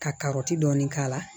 Ka karɔti dɔɔnin k'a la